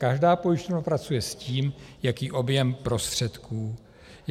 Každá pojišťovna pracuje s tím, jaký objem prostředků má.